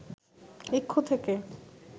ইক্ষু থেকে